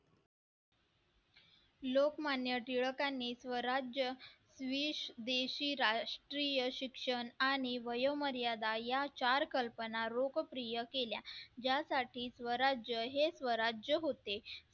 लोकमान्य टिळकांनी स्वराज्य वीस देशी राष्ट्रीय शिक्षण आणि वयोमर्यादा या चार कल्पना लोकप्रिय केल्या ज्यासाठी स्वराज्य हे स्वराज्य होते